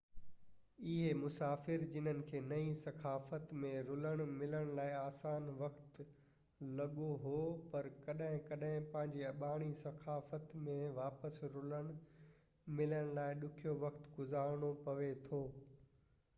اهي مسافر جنن کي نئي ثقافت ۾ رلڻ ملڻ لاءِ آسان وقت لڳو هو پر ڪڏهن ڪڏهن پنهنجي اباڻي ثقافت ۾ واپس رلڻ ملڻ لاءِ ڏکيو وقت گذارڻو پوي ٿو